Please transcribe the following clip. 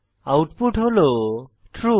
output হল true